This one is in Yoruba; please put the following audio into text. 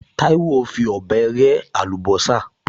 Táíwò fi ọ̀bẹ rẹ́ àlùbọ́sà